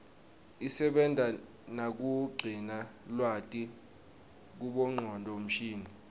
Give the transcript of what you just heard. isebenta nakugcina lwati kubongcondo mshini